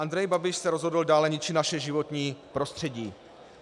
Andrej Babiš se rozhodl dále ničit naše životní prostředí.